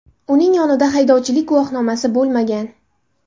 Uning yonida haydovchilik guvohnomasi bo‘lmagan.